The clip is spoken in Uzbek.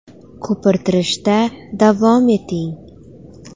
Ko‘pirtirishda davom eting.